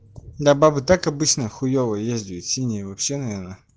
да бабы и так обычно хуёво ездиют а синие вообще наверно